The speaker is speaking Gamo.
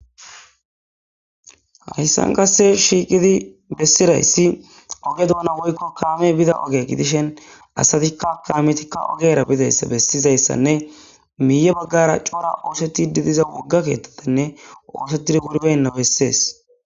hayssan kasse shiiqidi bessirayssi oge douna woykko kaame bida oge gidishen asatikka kaametikka ogera bidayssa bessizayssanne miiye baggara cora oosetididiza wogga keettotanne oosetid gurbenna bessees